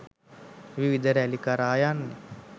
විවිධ රැලි කරා යන්නේ